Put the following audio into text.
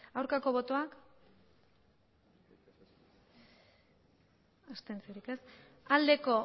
aurkako botoak abstentzioa